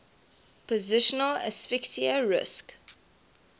positional asphyxia risk